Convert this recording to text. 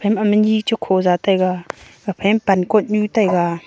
amahmi ni chekhoza taiga aphai pan knyot nyu taiga.